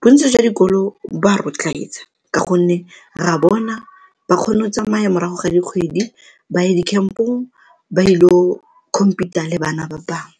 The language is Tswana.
Bontsi jwa dikolo ba ka gonne re a bona ba kgone go tsamaya morago ga dikgwedi ba ye di-camp-ong ba il'o compete-a le bana ba bangwe.